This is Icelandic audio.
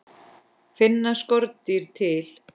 Finna skordýr til?